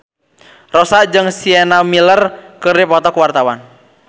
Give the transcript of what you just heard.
Rossa jeung Sienna Miller keur dipoto ku wartawan